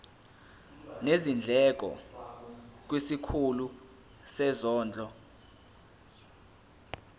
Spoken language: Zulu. nezindleko kwisikhulu sezondlo